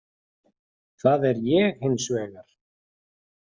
Það er ég hins vegar.